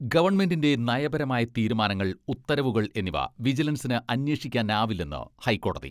ഗവൺമെന്റിന്റെ നയപരമായ തീരുമാനങ്ങൾ, ഉത്തരവുകൾ എന്നിവ വിജിലൻസിന് അന്വേഷിക്കാനാവില്ലെന്ന് ഹൈക്കോടതി.